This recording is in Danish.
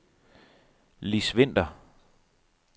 Liss Vinter